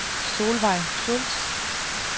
Solvejg Schulz